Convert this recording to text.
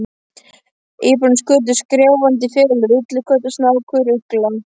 Íbúarnir skutust skrjáfandi í felur: villiköttur, snákur, ugla.